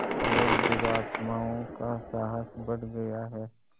और दुरात्माओं का साहस बढ़ गया है